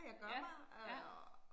Ja, ja